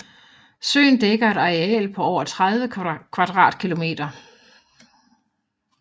Søen dækker et areal på over 30 km2